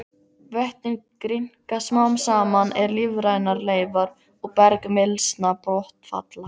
Vötnin grynnka smám saman er lífrænar leifar og bergmylsna botnfalla.